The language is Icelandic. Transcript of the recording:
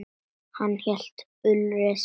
Hann hét Ulrich.